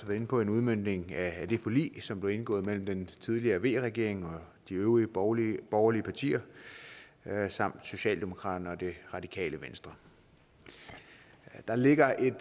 inde på en udmøntning af det forlig som blev indgået mellem den tidligere v regering og de øvrige borgerlige borgerlige partier samt socialdemokratiet og det radikale venstre der ligger et